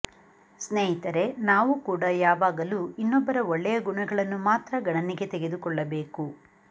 ಸ್ನೇಹಿತರೆ ನಾವು ಕೂಡ ಯಾವಾಗಲೂ ಇನ್ನೊಬ್ಬರ ಒಳ್ಳೆಯ ಗುಣಗಳನ್ನು ಮಾತ್ರ ಗಣನೆಗೆ ತೆಗೆದುಕೊಳ್ಳಬೇಕು